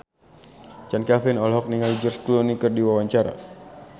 Chand Kelvin olohok ningali George Clooney keur diwawancara